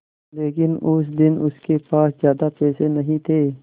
लेकिन उस दिन उसके पास ज्यादा पैसे नहीं थे